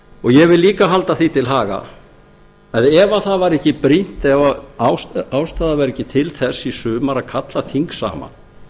minnihlutaálitinu ég vil líka halda því til haga að það var ekki brýnt eða ástæða var ekki til þess í sumar að kalla þing saman